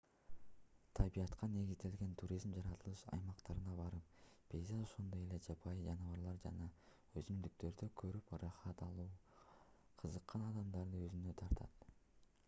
табиятка негизделген туризм жаратылыш аймактарына барып пейзаж ошондой эле жапайы жаныбарлар жана өсүмдүктөрдү көрүп ырахат алууга кызыккан адамдарды өзүнө тартат